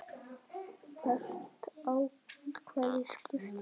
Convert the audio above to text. Hvert atkvæði skiptir máli.